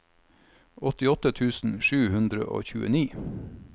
åttiåtte tusen sju hundre og tjueni